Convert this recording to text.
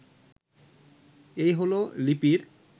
এই হলো লিপির